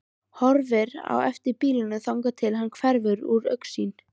Horfir á eftir bílnum þangað til hann hverfur úr augsýn.